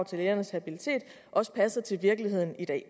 til lægernes habilitet også passer til virkeligheden i dag